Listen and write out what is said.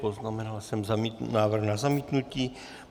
Poznamenal jsem návrh na zamítnutí.